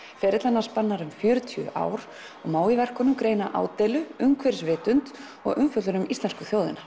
ferill hennar spannar um fjörutíu ár og má í verkunum greina ádeilu umhverfisvitund og umfjöllun um íslensku þjóðina